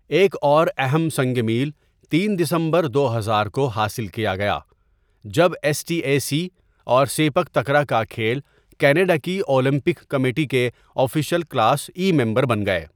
ایک اور اہم سنگ میل تین دسمبر دو ہزار کو حاصل کیا گیا، جب ایس ٹی اے سی اور سیپک تکرا کا کھیل کینیڈا کی اولمپک کمیٹی کے آفیشل کلاس ای ممبر بن گئے۔